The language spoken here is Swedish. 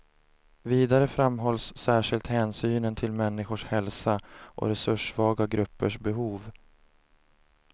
Vidare framhålls särskilt hänsynen till människors hälsa och resurssvaga gruppers behov.